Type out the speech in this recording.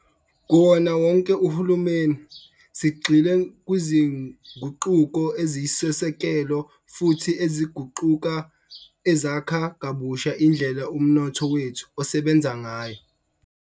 Kuwona wonke uhulumeni, sigxile kwizinguquko eziyisisekelo futhi eziguqukayo, ezakha kabusha indlela umnotho wethu osebenza ngayo.